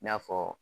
I n'a fɔ